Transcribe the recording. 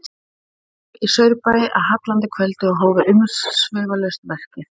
Þeir komu í Saurbæ að hallandi kvöldi og hófu umsvifalaust verkið.